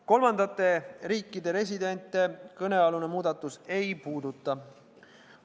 Kolmandate riikide residente kõnealune muudatus ei puuduta.